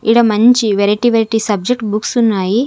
ఈడ మంచి variety variety subject books ఉన్నాయి.